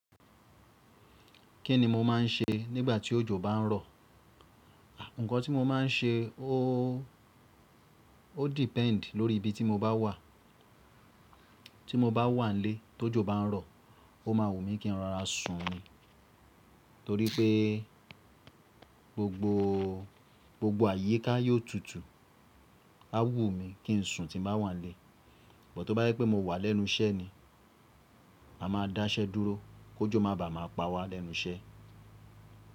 Kí ni mo máà ń ṣe nígbà tí òjò bá ń rọ̀? Ǹkan tí mo máa ń ṣe ó depend lórí ibi tí mo bá wà. Tí mo bá wà nílé tó jó bá ń rọ̀, ó ma wù mí kí n rora sun ni, torí pé gbogbo àyíká yóò tutù. A wù mí kí n sun tí bá wà nílé. Bọ̀ tó bá jẹ pé mo wà lẹ́nu iṣẹ́ ni, a máa dá iṣẹ́ dúró kó jó má bàá máa pa wá lẹ́nu iṣẹ́.